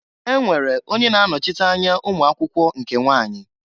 E nwere onye na-anochite anya ụmụakwụkwọ nke nwanyị.